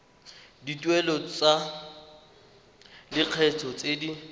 dituelo tsa lekgetho tse di